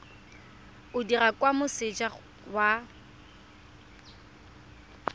o dirwa kwa moseja wa